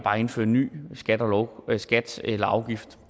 indføre en ny skat eller afgift